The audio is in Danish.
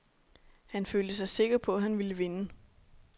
Han følte sig sikker på, han ville vinde.